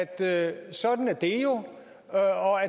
at sådan er det jo og